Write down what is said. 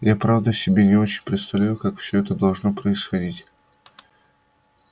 я правда себе не очень представляю как всё это должно происходить